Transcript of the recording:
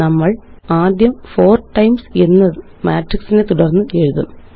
നമ്മളാദ്യം4 times എന്ന് മാട്രിക്സിനെ തുടര്ന്ന് എഴുതും